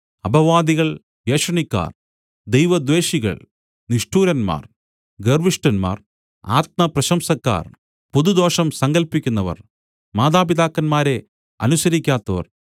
അപവാദികൾ ഏഷണിക്കാർ ദൈവദ്വേഷികൾ നിഷ്ഠൂരന്മാർ ഗർവ്വിഷ്ഠന്മാർ ആത്മപ്രശംസക്കാർ പുതുദോഷം സങ്കല്പിക്കുന്നവർ മാതാപിതാക്കന്മാരെ അനുസരിക്കാത്തവർ